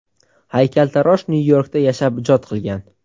Haykaltarosh Nyu-Yorkda yashab ijod qilgan.